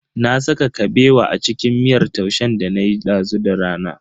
Na saka Kabewa a cikin miyar taushen danayi dazu da rana.